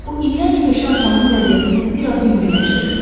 Bu iyrənc peşə atamın vəziyyətini bir az yüngülləşdirirdi.